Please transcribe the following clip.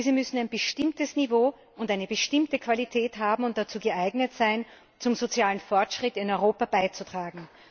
Diese müssen ein bestimmtes Niveau und eine bestimmte Qualität haben und geeignet sein, zum sozialen Fortschritt in Europa beizutragen.